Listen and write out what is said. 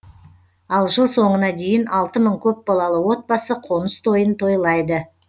ал жыл соңына дейін алты мың көпбалалы отбасы қоныс тойын тойлайды